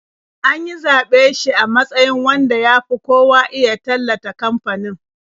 An yi zaɓe shi a matsayin wanda ya fi kowa iya tallata kamfanin.